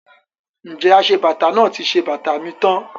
Ǹjẹ́ aṣebàtà náà ti ṣe bàtà mi tán?